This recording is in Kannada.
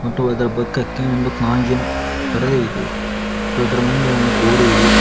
ಮತ್ತು ಅದರ ಪಕ್ಕಕ್ಕೆ ಒಂದು ಗಾಜಿನ ಪರದೆ ಇದೆ ಮತ್ತು ಅದರ ಮುಂದೆ ಒಂದು ಗೋಡೆ ಇದೆ.